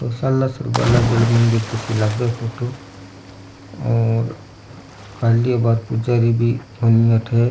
सालासर बालाजी आला मंदिर की सी लागे फोटो और खाली अबार पुजारी भी कोनी अठे।